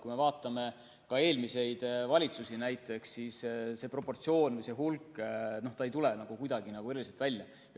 Kui me vaatame eelmisi valitsusi, siis see proportsioon, see hulk ei tule kuidagi eriliselt esile.